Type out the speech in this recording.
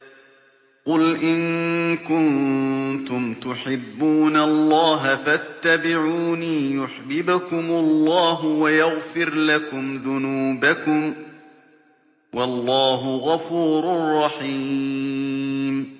قُلْ إِن كُنتُمْ تُحِبُّونَ اللَّهَ فَاتَّبِعُونِي يُحْبِبْكُمُ اللَّهُ وَيَغْفِرْ لَكُمْ ذُنُوبَكُمْ ۗ وَاللَّهُ غَفُورٌ رَّحِيمٌ